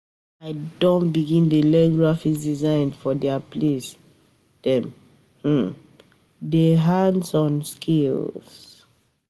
I don begin dey learn graphic design for di place dem um dey do hands-on skills.